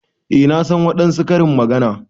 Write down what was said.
Eh na san wadansu Karin magana.